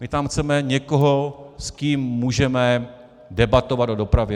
My tam chceme někoho, s kým můžeme debatovat o dopravě.